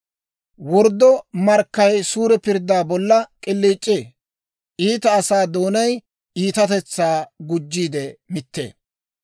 Worddo markkay suure pirddaa bolla k'iliic'ee; iita asaa doonay iitatetsaa gujjiide mittee.